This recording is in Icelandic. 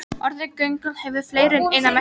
Orðið göndull hefur fleiri en eina merkingu.